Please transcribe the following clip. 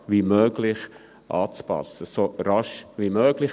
] anzupassen [...]»– «so rasch wie möglich».